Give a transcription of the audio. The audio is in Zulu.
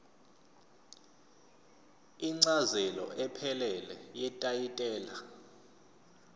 incazelo ephelele yetayitela